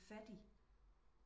Fattig